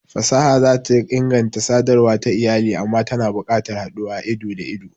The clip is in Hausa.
Fasaha za ta inganta sadarwa ta iyali amma tana buƙatar haduwa ido-da-ido.